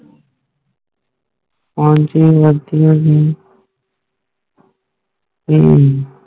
ਹਾਂ ਜੀ ਗ਼ਲਤੀ ਹੋਈ ਹੱਮ